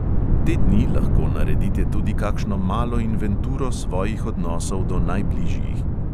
Te dni lahko naredite tudi kakšno malo inventuro svojih odnosov do najbližjih.